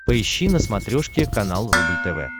поищи на смотрешке канал рубль тв